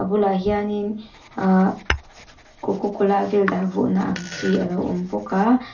bulah hianin uuhh coco cola vel dah vawhna ang chi a lo awm bawk a.